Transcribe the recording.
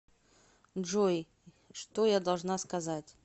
джой что я должна сказать